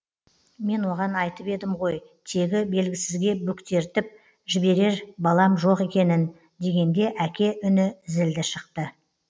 мен оған айтып едім ғой тегі белгісізге бөктертіп жіберер балам жоқ екенін дегенде әке үні зілді шықты